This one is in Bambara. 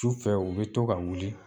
Sufɛ u bɛ to ka wuli